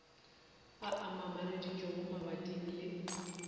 a a mamareditšwego mabating le